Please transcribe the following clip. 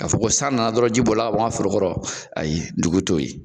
Ka fɔ ko san na na dɔrɔn ji bɔli la ka bɔ n ka foro kɔrɔ ayi dugu t'o ye.